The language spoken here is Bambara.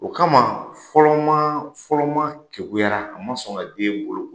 O kama fɔlɔ maa, fɔlɔ maa kekuyara a ma sɔn ka den boloko.